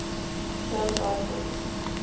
term cite book